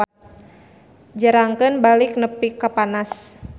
Jerangkeun balik nepi ka panas.